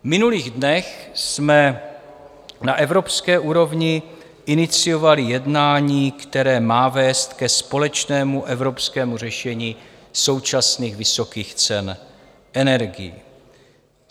V minulých dnech jsme na evropské úrovni iniciovali jednání, které má vést ke společnému evropskému řešení současných vysokých cen energií.